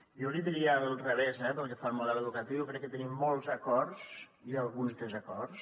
jo l’hi diria al revés eh pel que fa al model educatiu jo crec que tenim molts acords i alguns desacords